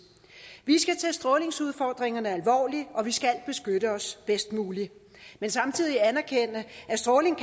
vi skal strålingsudfordringerne alvorligt og vi skal beskytte os bedst muligt men samtidig anerkende at stråling